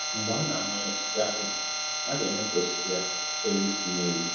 Mgbe a na-amanye osisi akpụ ,a ga eme ka osisi ya chewe isi n'elu